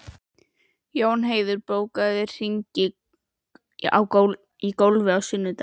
Jónheiður, bókaðu hring í golf á sunnudaginn.